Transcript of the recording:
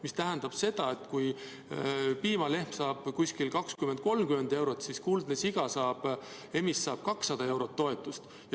See tähendab, et kui piimalehm saab 20–30 eurot, siis kuldne siga, emis, saab 200 eurot toetust.